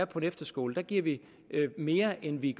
på en efterskole giver vi mere end vi